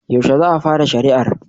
Yaushe za a fara shari'ar?